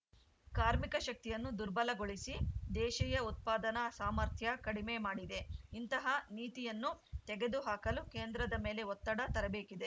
ಕಾರ್ಮಿಕ ಶಕ್ತಿಯನ್ನು ದುರ್ಬಲಗೊಳಿಸಿ ದೇಶೀಯ ಉತ್ಪಾದನಾ ಸಾಮರ್ಥ್ಯ ಕಡಿಮೆ ಮಾಡಿದೆ ಇಂತಹ ನೀತಿಯನ್ನು ತೆಗೆದು ಹಾಕಲು ಕೇಂದ್ರದ ಮೇಲೆ ಒತ್ತಡ ತರಬೇಕಿದೆ